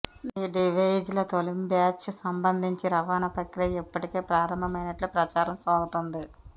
ఈ డివైజ్ల తొలి బ్యాచ్కు సంబంధించి రవాణా ప్రక్రియ ఇప్పటికే ప్రారంభమైనట్లు ప్రచారం సాగుతోంది